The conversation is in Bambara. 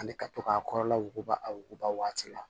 Ani ka to k'a kɔrɔla wuguba a wuguba waati la